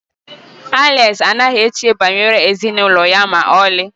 Alex anaghị eche banyere ezinụlọ ya ma ọlị